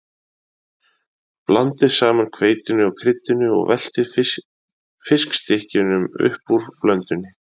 Blandið saman hveitinu og kryddinu og veltið fiskstykkjunum upp úr blöndunni.